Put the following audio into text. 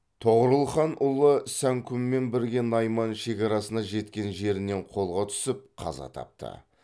тоғорыл хан ұлы сәңкүммен бірге найман шекарасына жеткен жерінен қолға түсіп қаза тапты